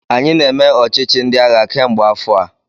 Anyị na-eme ọchịchị ndị agha kemgbe afọ a.